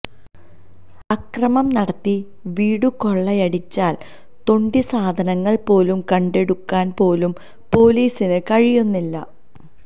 അക്രമം നടത്തി വീടുകൊള്ളയടിച്ചാല് തൊണ്ടിസാധനങ്ങള് പോലും കണ്ടെടുക്കാന് പോലും പോലീസിന് കഴിയുന്നില്ല